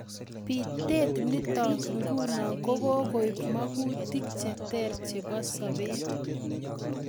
Pitet nitok nguno ko kokoip magutik cheter chebo sabet.